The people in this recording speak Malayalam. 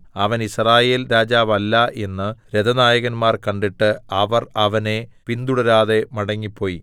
അവൻ യിസ്രായേൽരാജാവല്ല എന്നു രഥനായകന്മാർ കണ്ടിട്ട് അവർ അവനെ പിന്തുടരാതെ മടങ്ങിപ്പോയി